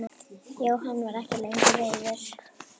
Jóhann var ekki lengur reiður.